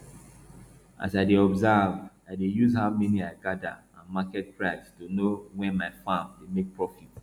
as i dey observe i dey use how many i gather and market price to know when my farm dey make profit